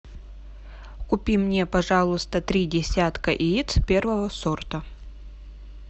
купи мне пожалуйста три десятка яиц первого сорта